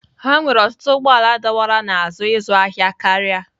Ha nwere ọtụtụ ụgbọ ala dọwara n'azụ ịzụ ahịa karịa.